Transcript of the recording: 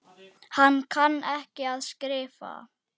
Hann kann ekki að skrifa.